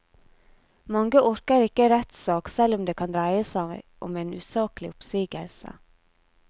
Mange orker ikke rettssak selv om det kan dreie seg om en usaklig oppsigelse.